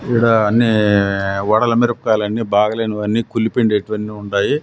ఈడ అన్ని వడల మిరపకాయలు అన్ని బాగా లేనివి అన్ని కుళ్ళిపోయినడేటీవన్నీ ఉండయి.